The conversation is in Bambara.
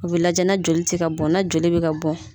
U bɛ lajɛ na joli tɛ ka bɔn na joli bɛ ka bɔn